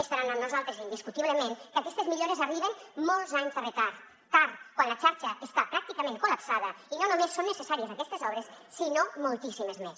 estaran amb nosaltres indiscutiblement que aquestes millores arriben amb molts anys de retard tard quan la xarxa està pràcticament col·lapsada i no només són necessàries aquestes obres sinó moltíssimes més